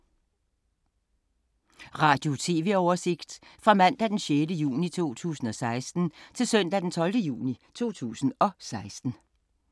Radio/TV oversigt fra mandag d. 6. juni 2016 til søndag d. 12. juni 2016